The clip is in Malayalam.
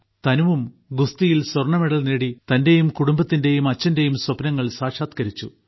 തനുവും ഗുസ്തിയിൽ സ്വർണമെഡൽ നേടി തന്റെയും കുടുംബത്തിന്റെയും അച്ഛന്റെയും സ്വപ്നങ്ങൾ സാക്ഷാത്കരിച്ചു